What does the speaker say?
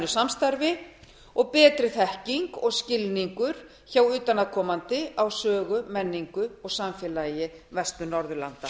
samstarfi og betri þekking og skilningur hjá utanaðkomandi á sögu menningu og samfélagi vestur norðurlanda